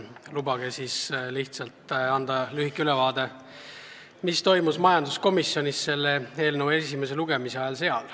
Lubage siis lihtsalt anda lühike ülevaade, mis toimus majanduskomisjonis enne selle eelnõu esimest lugemist.